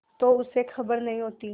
तो उसे खबर नहीं होती